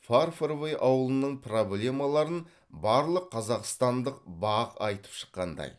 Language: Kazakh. фарфоровый ауылының проблемаларын барлық қазақстандық бақ айтып шыққандай